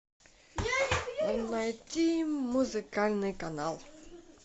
найти музыкальный канал